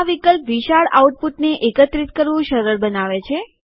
આ વિકલ્પ વિશાળ આઉટપુટને એકત્રિત કરવું સરળ બનાવે છે